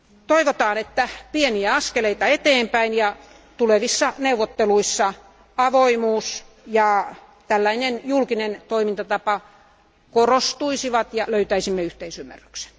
Toivotaan, että otetaan pieniä askeleita eteenpäin ja että tulevissa neuvotteluissa avoimuus ja tällainen julkinen toimintatapa korostuisivat ja löytäisimme yhteisymmärryksen.